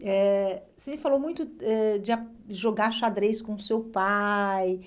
eh Você me falou muito ãh de ah jogar xadrez com seu pai,